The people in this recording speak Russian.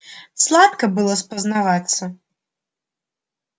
сладко было спознаваться